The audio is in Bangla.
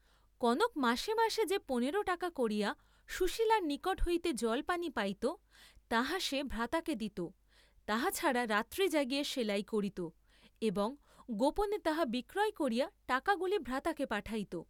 কনক মাসে মাসে যে পনেরো টাকা করিয়া সুশীলার নিকট হইতে জলপানী পাইত, তাহা সে ভ্রাতাকে দিত তাহা ছাড়া রাত্রি জাগিয়া সেলাই করিত এবং গোপনে তাহা বিক্রয় করিয়া টাকাগুলি ভ্রাতাকে পাঠাইত।